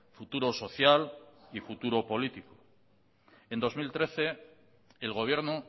futuro social y futuro político en dos mil trece el gobierno